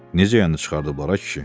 Necə yəni çıxarıblar, ay kişi?